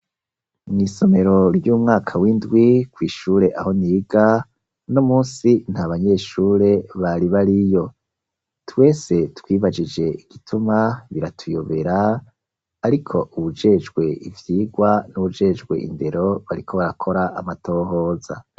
Mw'isomero ry'umwaka w'indwi kw'ishure aho niga uno munsi ntabanyeshure bari bariyo twese twibagije igituma biratuyobera ariko ubajejwe ivyigwa nuwujejwe indero bariko barakora amatohoza.